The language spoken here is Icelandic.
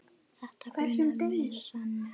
Þetta grunaði mig sagði hann.